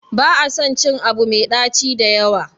ba a son cin Abu Mai daci da yawa